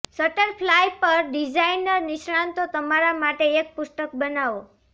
Shutterfly પર design નિષ્ણાતો તમારા માટે એક પુસ્તક બનાવો